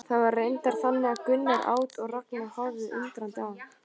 Það var reyndar þannig að Gunnar át og Ragnar horfði undrandi á.